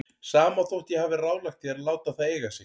Sama þótt ég hafi ráðlagt þér að láta það eiga sig.